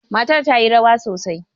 Matar ta yi rawa sosai.